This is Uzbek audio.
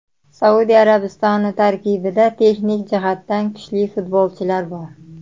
Saudiya Arabistoni tarkibida texnik jihatdan kuchli futbolchilar bor.